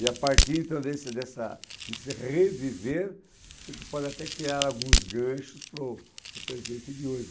E a partir então desse dessa desse reviver, você pode até criar alguns ganchos para o para o presente de hoje.